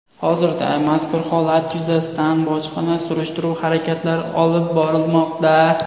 Hozirda mazkur holat yuzasidan bojxona surishtiruv harakatlari olib borilmoqda.